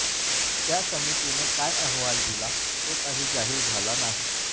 त्या समितीने काय अहवाल दिला तो काही जाहीर झाला नाही